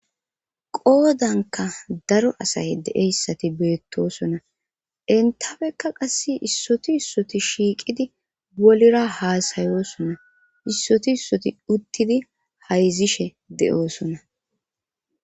qoodanka daro asay de7eyssati beettosona entafekka qasse issoti issoti shiiqidi bolira haasayoosonna issoti issoti uttidi hayzishe de7oosona